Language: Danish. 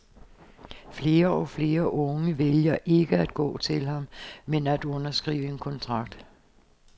Flere og flere unge vælger ikke at gå til ham, men at underskrive en kontrakt.